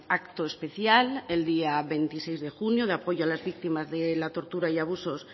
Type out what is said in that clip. acto especial el día veintiséis de junio de apoyo a las víctimas de la tortura y abusos